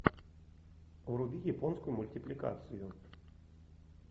вруби японскую мультипликацию